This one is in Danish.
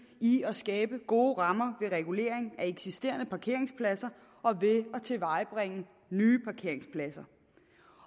i at skabe gode rammer ved regulering af eksisterende parkeringspladser og ved at tilvejebringe nye parkeringspladser